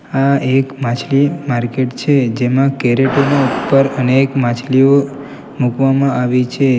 આ એક માછલી માર્કેટ છે જેમાં કેરેટો ની ઉપર અનેક માછલીઓ મૂકવામાં આવી છે.